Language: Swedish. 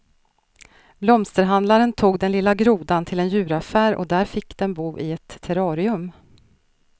Blomsterhandlaren tog den lilla grodan till en djuraffär där den fick bo i ett terrarium.